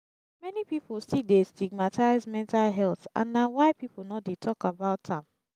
many people still dey stigmatize mental health and na why people no dey talk about am.